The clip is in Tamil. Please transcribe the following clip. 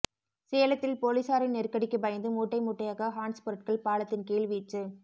சேலத்தில் போலீசாரின் நெருக்கடிக்கு பயந்து மூட்டை மூட்டையாக ஹான்ஸ் பொருட்கள் பாலத்தின் கீழ் வீச்சு